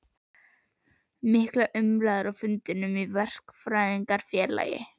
Miklar umræður á fundum í Verkfræðingafélagi